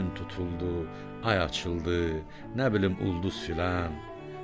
Gün tutuldu, ay açıldı, nə bilim ulduz filan.